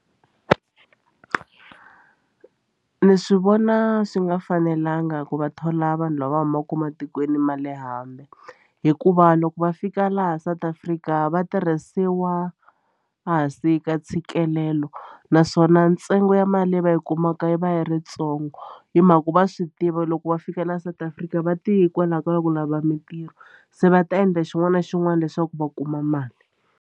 Ni swi vona swi nga fanelanga ku va thola vanhu lava va humaka matikweni ma le hambi hikuva loko va fika laha South Africa va tirhisiwa a hansi ka ntshikelelo naswona ntsengo ya mali leyi va yi kumaka yi va yi ri ntsongo hi mhaka ku va swi tiva loko va fika la South Africa va ti hikwalaho ka ku lava mitirho se va ta endla xin'wana na xin'wana leswaku va kuma mali.